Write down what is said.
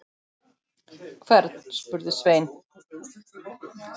Hvern, spurði Sveinn.